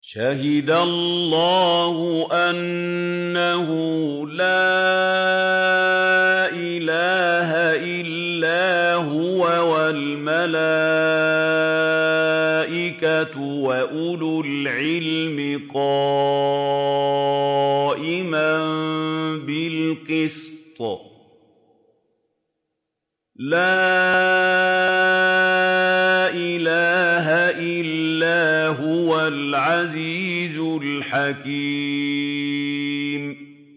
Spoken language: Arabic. شَهِدَ اللَّهُ أَنَّهُ لَا إِلَٰهَ إِلَّا هُوَ وَالْمَلَائِكَةُ وَأُولُو الْعِلْمِ قَائِمًا بِالْقِسْطِ ۚ لَا إِلَٰهَ إِلَّا هُوَ الْعَزِيزُ الْحَكِيمُ